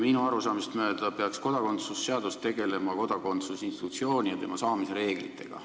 Minu arusaamist mööda peaks kodakondsuse seadus tegelema kodakondsuse institutsiooni ja selle saamise reeglitega.